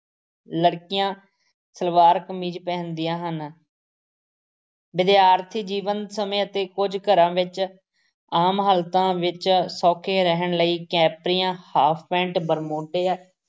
ਲੜਕੀਆਂ ਸਲਵਾਰ-ਕਮੀਜ਼ ਪਹਿਨਦੀਆਂ ਹਨ ਵਿਦਿਆਰਥੀ- ਜੀਵਨ ਸਮੇਂ ਅਤੇ ਕੁੱਝ ਘਰਾਂ ਵਿੱਚ ਆਮ ਹਾਲਤਾਂ ਵਿੱਚ ਸੌਖੇ ਰਹਿਣ ਲਈ ਕੰਪਰੀਆਂ, half ਪੈਂਟ, ਬਰਮੂਡੋ,